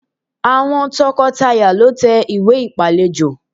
Àwọn tọkọtaya lọ tẹ ìwé ìpálejò